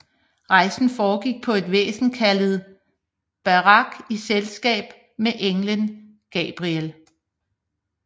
Rejsen foregik på et væsen kaldet Buraq i selskab med englen Gabriel